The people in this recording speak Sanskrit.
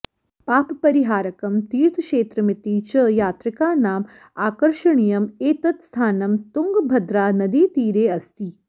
पापपरिहारकं तीर्थक्षेत्रमिति च यात्रिकानाम् आकर्षणीयम् एतत् स्थानं तुङ्गभद्रानदीतीरे अस्ति